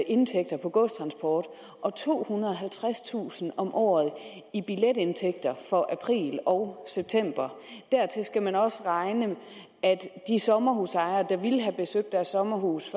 indtægter fra godstransport og tohundrede og halvtredstusind kroner om året i billetindtægter for april og september dertil skal man også regne at de sommerhusejere der ville have besøgt deres sommerhus